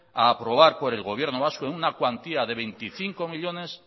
a aprobar por el gobierno vasco en una cuantía de veinticinco millónes